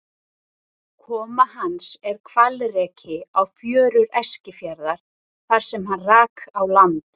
Koma hans er hvalreki á fjörur Eskifjarðar þar sem hann rak á land.